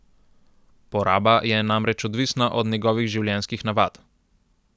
Poraba je namreč odvisna od njegovih življenjskih navad.